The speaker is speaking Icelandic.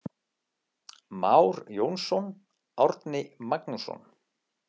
Már Jónsson, Árni Magnússon.